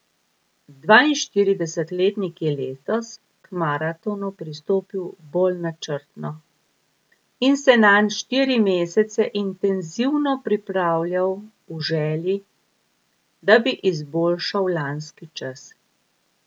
Dvainštiridesetletnik je letos k maratonu pristopil bolj načrtno in se nanj štiri mesece intenzivno pripravljal v želji, da bi izboljšal lanski čas.